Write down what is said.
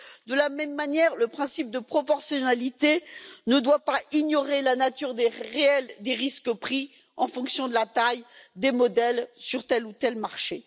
De la même manière, le principe de proportionnalité ne doit pas ignorer la nature réelle des risques pris en fonction de la taille des modèles sur tel ou tel marché.